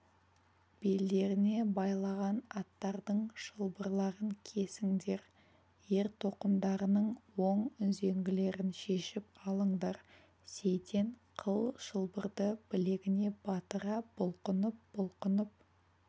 белдеріне байлаған аттардың шылбырларын кесіңдер ер-тоқымдарының оң үзеңгілерін шешіп алыңдар сейтен қыл шылбырды білегіне батыра бұлқынып-бұлқынып